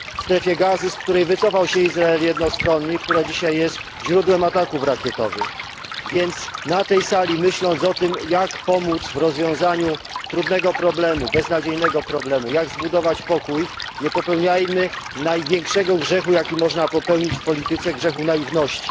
w Strefie Gazy, z której wycofał się Izrael jednostronnie i która dzisiaj jest źródłem ataków rakietowych. Na tej sali myśląc o tym, jak pomóc w rozwiązaniu trudnego problemu, beznadziejnego problemu, jak zbudować pokój, nie popełniajmy największego grzechu, jaki można popełnić w polityce, grzechu naiwności.